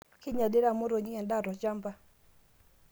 kinyalita motonyik edaa toshamba